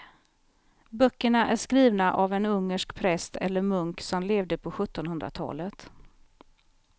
Böckerna är skrivna av en ungersk präst eller munk som levde på sjuttonhundratalet.